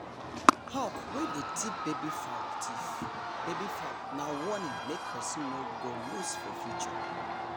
hawk wey dey thief baby fowl thief baby fowl nah warning make person no go loose for future